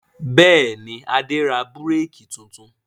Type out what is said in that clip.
Bẹ́ẹ̀ ni, Adé ra búrékì tuntun.